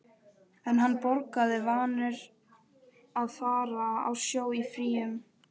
En hann borgaði, vanur að fara á sjó í fríum.